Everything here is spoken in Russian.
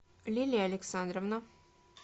лилия александровна